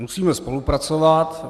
Musíme spolupracovat.